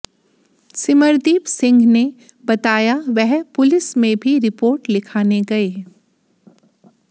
सिमरदीप सिंह ने बताया वह पुलिस में भी रिपोर्ट लिखाने गए